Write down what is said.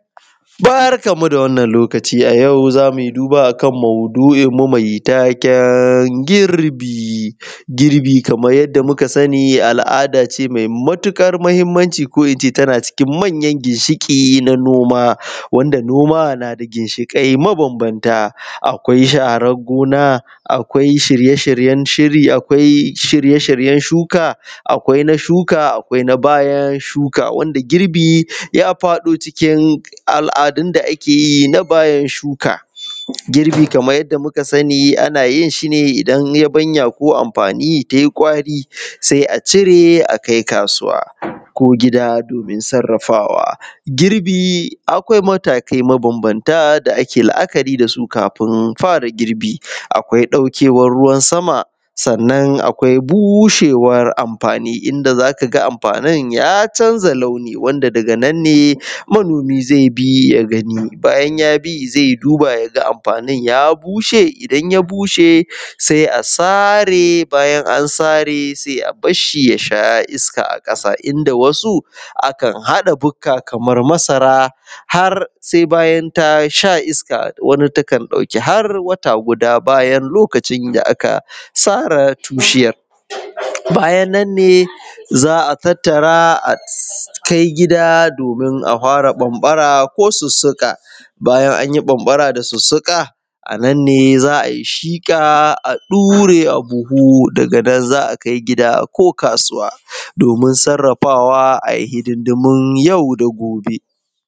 Barkanmu da wannan lokaci, a yau zamuyi duba akan mau’dui mu mai taken girbi kamar yadda muka sani, al’ada ce mai matukar muhimmanci ko ince tana cikin manyan ginshikin na noma wanda na da ginshikai ma banbanta akwai sharon gona akwai shirye-shiryen shiri, akwai shirye-shiryen shuka akwai na shuka akwai na bayan shuka wanda girbi ya faɗo, a al’adun da ake yi na bayan shuka girbi kaman yadda muka sani ana yin shi dan yabanya ko amfani tai ƙwari sai a cire a kai kasuwa ko gida, domin sarrafawa girbi akwai matakai mabanbanta da ake la’akari dasu, kafin fara girbi akwai dauke wan ruwan sama sannan akwai bushewar amfanin da zakaga amfanin ya canza launi wanda daga nan ne manomi zai bi yagani bayan yabi zai duba yaga amfanin ya bushe idan ya bushe sai a sare bayan an sare sai a barshi ya sha iska a kasa inda wasu akan haɗa buka kamar masara har sai bayan ta sha iska wani takan ɗauki wata guda, bayan lokacin da aka sare wato bishiyan bayan nan ne za a tattara akai gida domin a fara banbara ko susuka bayan anyi banbara da susuka nan ne za’ayi shiƙa a ɗare abuhu daga nan zaa kai gida ko kasuwa domin sarrafawa ayi hidindimu yau da gobe.